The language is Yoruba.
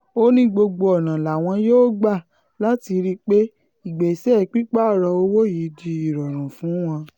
ó ní gbogbo ọ̀nà làwọn yóò gbà láti rí i pé ìgbésẹ̀ pípààrọ̀ owó yìí di ìrọ̀rùn fún wọn